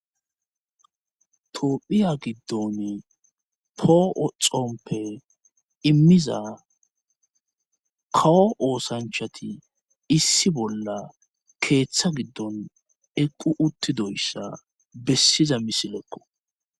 Toophiya giddon poo7oxompe immiza kawo oosanchati issi bolla keeththa giddon eqqu uttidoyssa bessiza misilekko